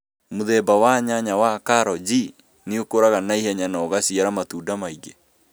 Mũthemba wa nyanya wa Caro J nĩ ũkũraga naihenya na ũgaciara matunda maĩngi